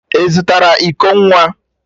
Ị zụtara iko nwa?